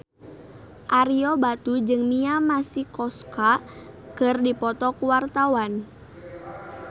Ario Batu jeung Mia Masikowska keur dipoto ku wartawan